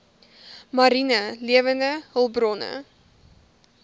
mariene lewende hulpbronne